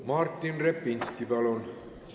Martin Repinski, palun!